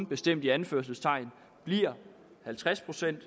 bestemt i anførselstegn bliver halvtreds procent